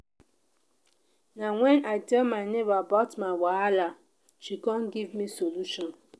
na wen i tell my nebor about my wahala she come give me solution.